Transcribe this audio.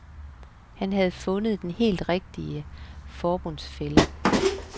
Han havde fundet den helt rigtige forbundsfælle.